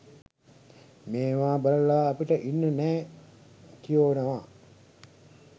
මේවා බලලා අපිට ඉන්න නෑ කියෝනවා.